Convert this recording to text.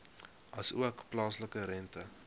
asook plaaslike rente